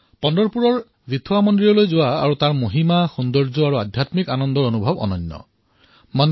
পণ্টৰপুৰত বিত্থৱা মন্দিৰলৈ যোৱা আৰু তাৰ মহিমা সৌন্দৰ্য আধ্যাত্মিক আনন্দৰ এক অনন্য ৰূপ আছে